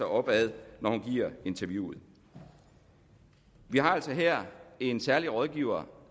op ad når hun giver interviewet vi har altså her en særlig rådgiver